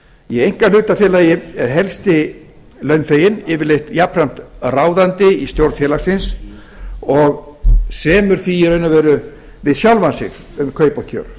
í einkahlutafélagi er helsti launþeginn yfirleitt jafnframt ráðandi í stjórn félagsins og semur því í raun ég eru við sjálfan sig um kaup og kjör